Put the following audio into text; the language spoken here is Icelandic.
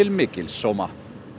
mikils sóma